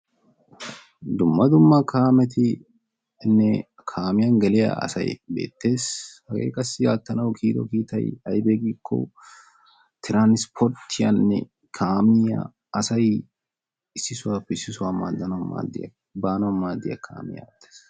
dumma dumma kaametinne kaamiya geliya asay beetees. hegee qassi aattanawu koyiddo kiittay aybee giikko tiransporttiyaanne kaamiya asay issi sohuwappe issi sohuwa baanawu maadiyaagaa.